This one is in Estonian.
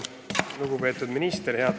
Lugupeetud minister!